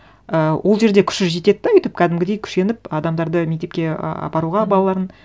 і ол жерде күші жетеді де өйтіп кәдімгідей күшеніп адамдарды мектепке ы апаруға балаларын